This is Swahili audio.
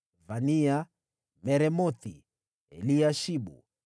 Vania, Meremothi, Eliashibu,